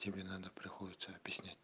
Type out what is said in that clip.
тебе надо приходится объяснять